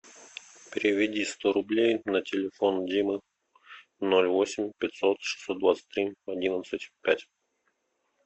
переведи сто рублей на телефон димы ноль восемь пятьсот шестьсот двадцать три одиннадцать пять